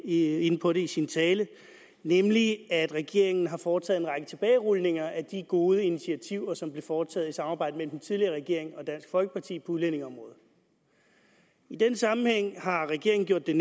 inde på det i sin tale nemlig at regeringen har foretaget en række tilbagerulninger af de gode initiativer som blev foretaget i et samarbejde mellem den tidligere regering og dansk folkeparti på udlændingeområdet i den sammenhæng har regeringen gjort det